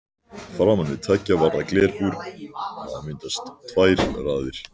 Framan við tveggja varða glerbúr hafa myndast tvær raðir.